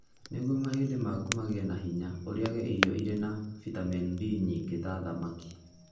Nĩguo mahĩndĩ maku magĩe na hinya, ũrĩage irio irĩ na bitamini D nyingĩ ta thamaki.